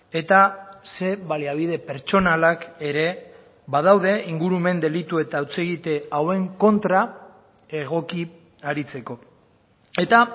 eta zein baliabide pertsonalak ere badaude ingurumen delitu eta hutsegite hauen kontra egoki aritzeko eta